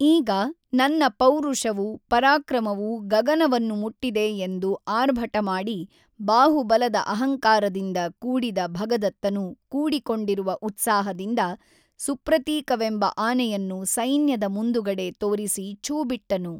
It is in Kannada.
ಈಗ ನನ್ನ ಪೌರುಷವೂ ಪರಾಕ್ರಮವೂ ಗಗನವನ್ನು ಮುಟ್ಟಿದೆ ಎಂದು ಆರ್ಭಟಮಾಡಿ ಬಾಹುಬಲದ ಅಹಂಕಾರದಿಂದ ಕೂಡಿದ ಭಗದತ್ತನು ಕೂಡಿಕೊಂಡಿರುವ ಉತ್ಸಾಹದಿಂದ ಸುಪ್ರತೀಕವೆಂಬ ಆನೆಯನ್ನು ಸೈನ್ಯದ ಮುಂದುಗಡೆ ತೋರಿಸಿ ಛೂಬಿಟ್ಟನು.